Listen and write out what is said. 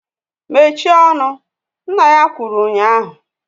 Mechie ọnụ! Nna ya kwuru ụnyaahụ!